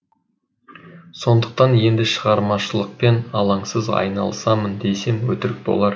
сондықтан енді шығармашылықпен алаңсыз айналысамын десем өтірік болар